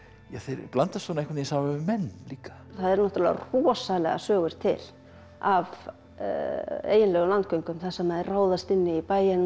blandast svona einhvern saman við menn líka það eru náttúrulega rosalegar sögur til af eiginlegum landgöngum þar sem þeir ráðast inn í bæina